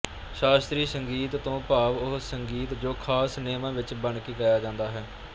ਸ਼ਾਸਤਰੀ ਸੰਗੀਤ ਤੋਂ ਭਾਵ ਉਹ ਸੰਗੀਤ ਜੋ ਖਾਸ ਨਿਯਮਾਂ ਵਿੱਚ ਬੰਨ੍ਹਕੇ ਗਾਇਆ ਜਾਂਦਾ ਹੈ